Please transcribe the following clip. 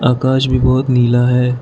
आकाश भी बहुत नीला है।